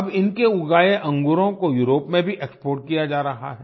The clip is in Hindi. अब इनके उगाए अंगूरों को यूरोप में भी एक्सपोर्ट किया जा रहा है